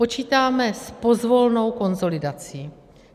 Počítáme s pozvolnou konsolidací.